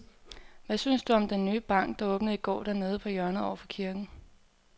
Hvad synes du om den nye bank, der åbnede i går dernede på hjørnet over for kirken?